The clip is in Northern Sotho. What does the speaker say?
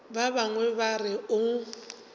ba bangwe ba re o